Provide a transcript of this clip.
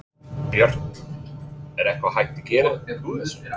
Björn: Er eitthvað hægt að gera úr þessu?